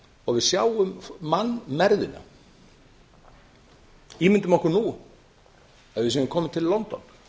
og við sjáum mannmergðina ímyndum okkur nú að við séum komin til london